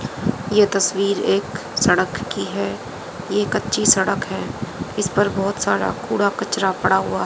यह तस्वीर एक सड़क की है। यह कच्ची सड़क है जिस पर बहोत सारा कूड़ा कचरा पड़ा हुआ--